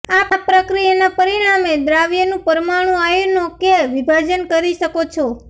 આ પ્રક્રિયાના પરિણામે દ્વાવ્યનું પરમાણુ આયનો કે વિભાજન કરી શકો છો